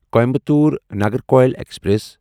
Coimbatore Nagercoil express